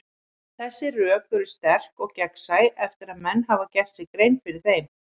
Þessi rök eru sterk og gegnsæ eftir að menn hafa gert sér grein fyrir þeim.